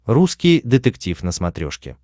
русский детектив на смотрешке